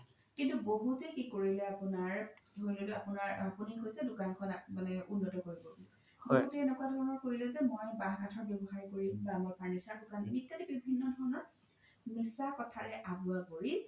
কিন্তু বহুতে কি কৰিলে আপোনাৰ ধৰি ল'লো আপোনি কৈছে দুকানখন মানে উন্ন্ত কৰিব বুলি এনেকুৱা ধৰণৰ কৰিলে যে মই বাহ কাথ ব্যৱসায় কৰিম বা furniture দুকান দিম ইত্যাদি বিভিন্ন ধৰণৰ মিচা কথাৰে আভোৱা কৰি